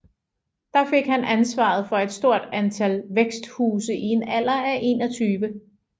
Der fik han ansvaret for et stort antal væksthuse i en alder af 21